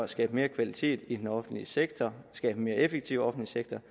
skabe mere kvalitet i den offentlige sektor og skabe en mere effektiv offentlig sektor